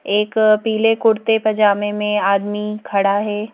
एक पीले कुर्ते पजामे में आदमी खड़ा है।